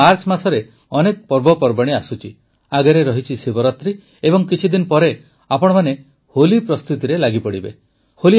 ଆଗାମୀ ମାର୍ଚ୍ଚ ମାସରେ ଅନେକ ପର୍ବପର୍ବାଣୀ ଆସୁଛି ଶିବରାତ୍ରୀ ଏବଂ କିଛିଦିନ ପରେ ଆପଣମାନେ ହୋଲି ପ୍ରସ୍ତୁତିରେ ଲାଗିପଡ଼ିବେ